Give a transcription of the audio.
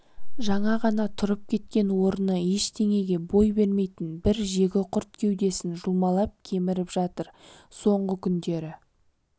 жаңа ғана тұрып кеткен орыны ештеңеге бой бермейтін бір жегіқұрт кеудесін жұлмалап кеміріп жатыр соңғы күндері